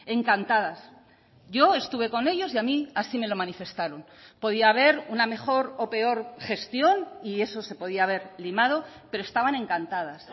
encantadas yo estuve con ellos y a mí así me lo manifestaron podía haber una mejor o peor gestión y eso se podía haber limado pero estaban encantadas